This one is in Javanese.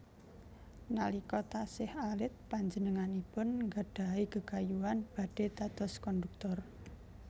Nalika taksih alit panjenenganipun nggadhahi gegayuhan badhé dados kondhuktor